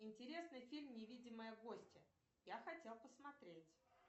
интересный фильм невидимая гостья я хотел посмотреть